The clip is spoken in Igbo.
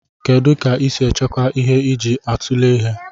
Kedu ka isi echekwa ihe iji atule ihe?